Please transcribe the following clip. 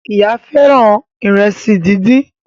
Ìyá fẹràn Ìrẹsí dín dín.